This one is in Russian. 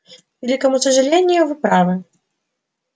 к великому сожалению вы правы